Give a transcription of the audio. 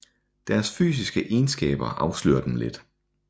Deres fysiske egenskaber afslører dem let